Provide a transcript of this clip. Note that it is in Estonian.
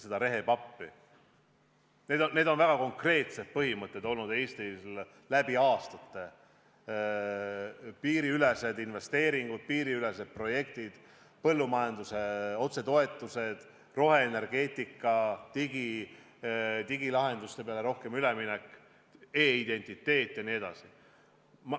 Need on läbi aastate olnud Eestil väga konkreetsed põhimõtted: piiriülesed investeeringud, piiriülesed projektid, põllumajanduse otsetoetused, roheenergeetika, üleminek digilahendustele, e-identiteet jne.